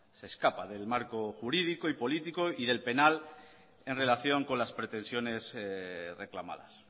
se escapa del marco jurídico y político y del penal en relación con las pretensiones reclamadas